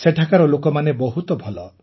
ସେଠାକାର ଲୋକମାନେ ବହୁତ ଭଲ